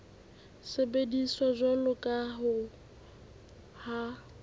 sebediswa jwalo ka ha ho